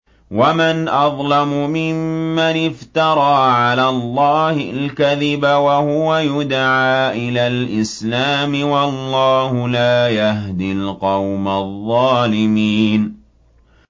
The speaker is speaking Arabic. وَمَنْ أَظْلَمُ مِمَّنِ افْتَرَىٰ عَلَى اللَّهِ الْكَذِبَ وَهُوَ يُدْعَىٰ إِلَى الْإِسْلَامِ ۚ وَاللَّهُ لَا يَهْدِي الْقَوْمَ الظَّالِمِينَ